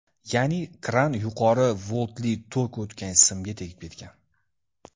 Ya’ni kran yuqori voltli tok o‘tgan simga tegib ketgan.